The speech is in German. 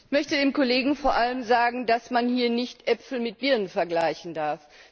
Ich möchte dem Kollegen vor allem sagen, dass man hier nicht Äpfel mit Birnen vergleichen darf.